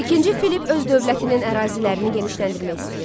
İkinci Filipp öz dövlətinin ərazilərini genişləndirmək istəyirdi.